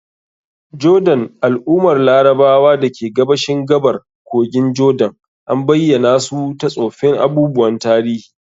Jordan, al'ummar Larabawa da ke gabashin gabar kogin Jordan, an bayyana su ta tsoffin abubuwan tarihi.